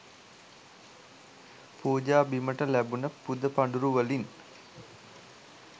පූජා බිමට ලැබුණ පුදපඬුරු වලින්